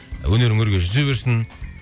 өнерің өрге жүзе берсін